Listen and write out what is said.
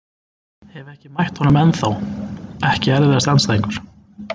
Hef ekki mætt honum ennþá Ekki erfiðasti andstæðingur?